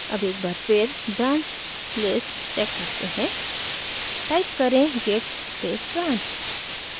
अब एक बार फिर branch list check करते हैं टाइप करें git space branch